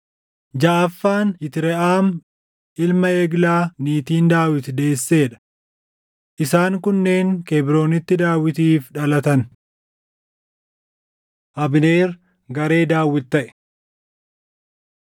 jaʼaffaan Yitreʼaam ilma Eglaa niitiin Daawit deessee dha. Isaan kunneen Kebroonitti Daawitiif dhalatan. Abneer Garee Daawit Taʼe